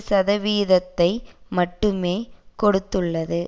சதவிகிதத்தை மட்டுமே கொடுத்துள்ளது